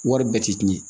Wari bɛɛ tɛ tiɲɛ